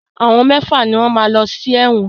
Àwọn mẹ́fà ni wọ́n máa lọ sí ẹ̀wọ̀n.